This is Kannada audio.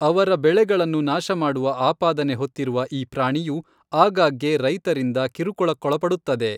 ಅವರ ಬೆಳೆಗಳನ್ನು ನಾಶಮಾಡುವ ಆಪಾದನೆ ಹೊತ್ತಿರುವ ಈ ಪ್ರಾಣಿಯು ಆಗಾಗ್ಗೆ ರೈತರಿಂದ ಕಿರುಕುಳಕ್ಕೊಳಪಡುತ್ತದೆ.